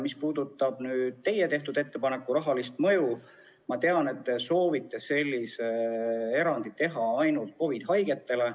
Mis puudutab teie tehtud ettepaneku rahalist mõju, siis ma tean, et te soovite selle erandi teha ainult COVID-19-haigetele.